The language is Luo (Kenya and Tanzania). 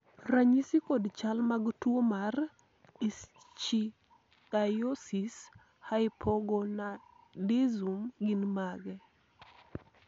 ranyisi kod chal mag tuo mar Ichthyosis hypogonadism gin mage?